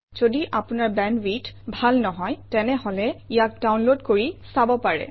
যদি আপোনাৰ বেণ্ডৱিডথ ভাল নহয় তেনেহলে ইয়াক ডাউনলোড কৰি চাব পাৰে